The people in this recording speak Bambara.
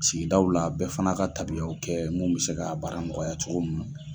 Sigidaw la bɛɛ fana ka tabiyaw kɛ munnu bɛ se ka baara nɔgɔya cogo min nɔ.